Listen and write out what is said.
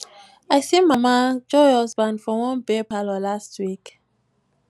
i see mama joy husband for one beer parlor last week